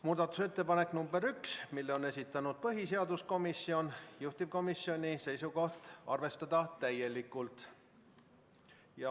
Muudatusettepanek nr 1, mille on esitanud põhiseaduskomisjon, juhtivkomisjoni seisukoht on arvestada täielikult.